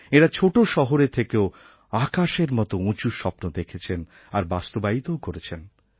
এঁরা ছোটো শহরে থেকেও আকাশের মতো উঁচু স্বপ্ন দেখেছেন আর বাস্তবায়িতও করেছেন